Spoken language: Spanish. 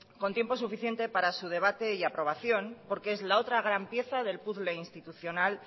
con tiempo suficiente para su debate y aprobación porque es la otra gran pieza del puzzle institucional